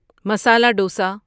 masala dosa